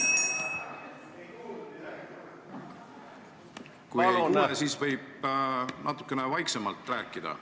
Kui te ei kuule, siis võite natukene vaiksemalt rääkida.